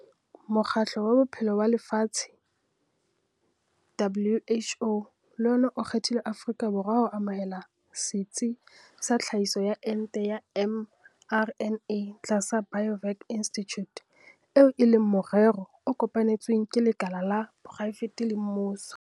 Mokgatlo wa Bophelo wa Lefatshe, WHO, le ona o kgethile Afrika Borwa ho amohela setsi sa tlhahiso ya ente ya mRNA tlasa Biovac Institute, eo e leng morero o kopanetsweng ke lekala la poraefete le mmuso.